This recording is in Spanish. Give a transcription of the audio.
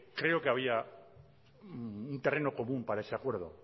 creo que había un terreno común para ese acuerdo